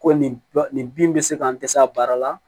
Ko nin bin bɛ se ka n dɛsɛ a baara la